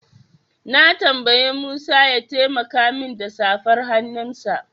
Na tambayi Musa ya taimaka min da safar hannunsa.